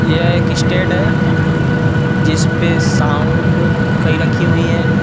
यह एक स्टेड है जिसपे साउंड कई रखी हुई है।